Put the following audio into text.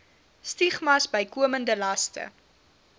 stigmas bykomende laste